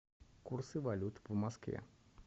курсы валют по москве